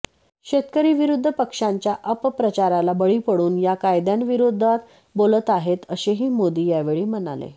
शेतकरी विरोधी पक्षांच्या अपप्रचाराला बळी पडून या कायद्यांविरोधात बोलत आहेत असेही मोदी यावेळी म्हणाले